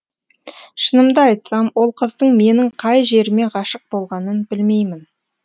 шынымды айтсам ол қыздың менің қай жеріме ғашық болғанын білмеймін